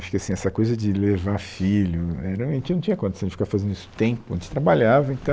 Acho que, assim, essa coisa de levar filho... É, realmente a gente não tinha condição de ficar fazendo isso o tempo a gente trabalhava, então...